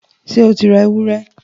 ṣé o ra ewúrẹ?